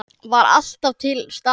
Var alltaf til staðar.